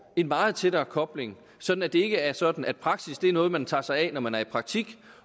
en meget tættere kobling sådan at det ikke er sådan at praksis er noget man tager sig af når man er i praktik